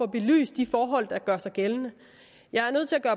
belyst de forhold der gør sig gældende jeg er nødt til at